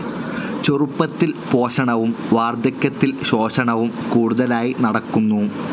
ചെറുപ്പത്തിൽ പോഷണവും വാർധക്യത്തിൽ ശോഷണവും കൂടുതലായി നടക്കുന്നു.